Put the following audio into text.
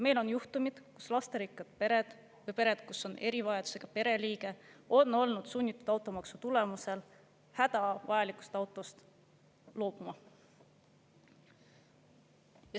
Meil on juhtumeid, kus lasterikkad pered või pered, kus on erivajadusega pereliige, on olnud sunnitud automaksu tulemusel hädavajalikust autost loobuma.